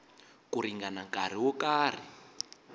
ku ringana nkarhi wo karhi